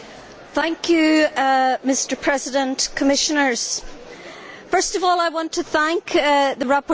Mr President, Commissioners, first of all I want to thank the rapporteur for his report.